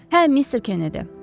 Hə, Mister Kennedy.